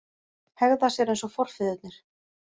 Hegða sér eins og forfeðurnir